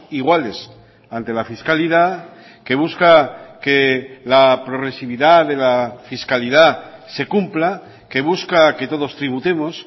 iguales ante la fiscalidad que busca que la progresividad de la fiscalidad se cumpla que busca que todos tributemos